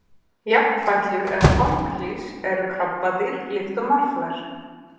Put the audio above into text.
jafnfætlur eða þanglýs eru krabbadýr líkt og marflær